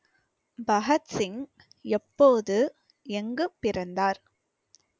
பகத்சிங் எப்போது எங்கு பிறந்தார்